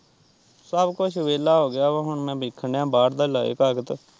ਸਭ ਕੁੱਛ ਵਿਹਲਾ ਹੋ ਗਿਆ ਵਾ ਹੁਣ ਮੈਂ ਵੇਖਣ ਦਿਆਂ ਬਾਹਰ ਦੇ ਲਾਏ ਕਾਗਜ਼।